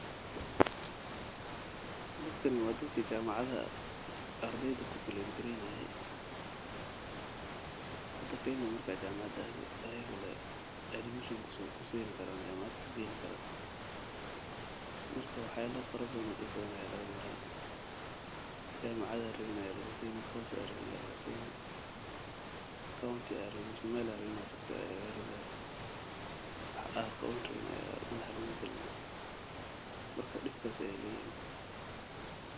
Dadkani waa dadka jamacaha ardeyda galinaye hada kenya markaad jamacad adeyso ayaga lee ku geynayan dibata fara badan ayaa laga maraa wax aad rabin ayaa madaxa laguu galinaa.